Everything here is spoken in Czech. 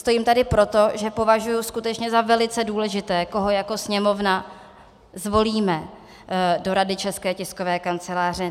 Stojím tady proto, že považuji skutečně za velice důležité, koho jako Sněmovna zvolíme do Rady České tiskové kanceláře.